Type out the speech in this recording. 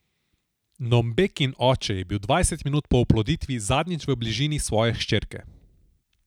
Nombekin oče je bil dvajset minut po oploditvi zadnjič v bližini svoje hčerke.